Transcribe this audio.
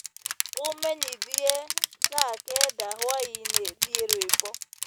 Umenyĩthĩe thaa kenda hwaĩnĩ thĩe rwĩmbo